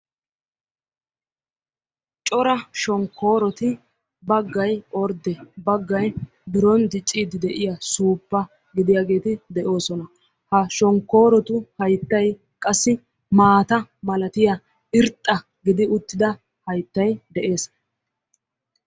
Cora shonkooroti baggay ordde baggay biron dicciidi de'iyaa suuppa gidiyaageti de'oosona. maata ha shonkoorotu hayttauy qassi maata malatiyaa irxxa gidi uttida hayttay de'ees.